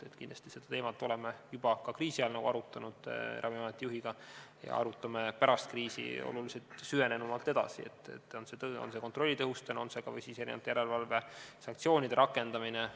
Me oleme seda teemat Ravimiameti juhiga arutanud juba kriisiajal ja arutame pärast kriisi kindlasti veel süvenenumalt edasi, olgu see kontrolli tõhustamine või järelevalve sanktsioonide rakendamine.